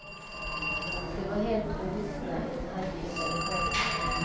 Det var hälften vuxna i den halvfyllda lokalen.